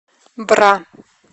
бра